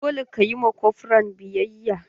Dole ka yi ma kofran biyayya!